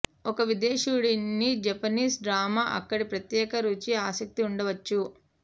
ఒక విదేశీయుడిని Japanese drama అక్కడి ప్రత్యేక రుచి ఆసక్తి ఉండవచ్చు